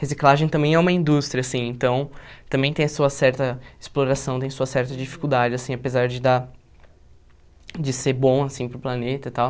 reciclagem também é uma indústria, assim, então, também tem a sua certa exploração, tem a sua certa dificuldade, assim, apesar de dar, de ser bom, assim, para o planeta e tal.